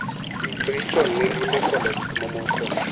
Ikri chon ne limbe koda gik mamoko.